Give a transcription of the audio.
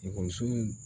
Ekɔlisow